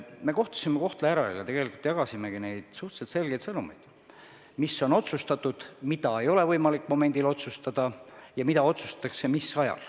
Me kohtusime Kohtla-Järvel ja tegelikult jagasime suhteliselt selgeid sõnumeid: mis on otsustatud, mida ei ole võimalik momendil otsustada ja mis ajal mida otsustatakse.